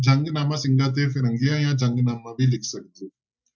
ਜੰਗਨਾਮਾ ਸਿੰਘਾਂ ਤੇ ਫਿਰੰਗੀਆਂ ਜਾਂ ਜੰਗਨਾਮਾ ਵੀ ਲਿਖ ਸਕਦੇ ਹੋ।